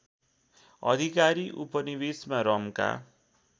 अधिकारी उपनिवेशमा रमका